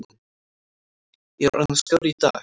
Ég er orðinn skárri í dag.